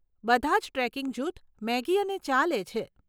બધાં જ ટ્રેકિંગ જૂથ મેગી અને ચા લે છે.